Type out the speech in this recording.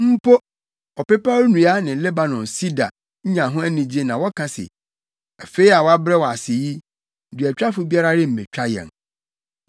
Mpo, ɔpepaw nnua ne Lebanon sida nya ho anigye na wɔka se, “Afei a wɔabrɛ wo ase yi, duatwafo biara remmetwa yɛn.”